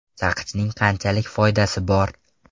Saqichning qanchalik foydasi bor?.